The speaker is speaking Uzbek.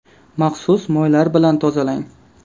Maxsus moylar bilan tozalang.